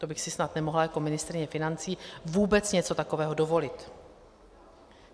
To bych si snad nemohla jako ministryně financí vůbec něco takového dovolit.